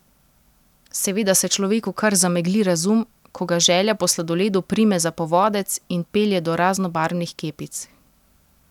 Seveda se človeku kar zamegli razum, ko ga želja po sladoledu prime za povodec in pelje do raznobarvnih kepic.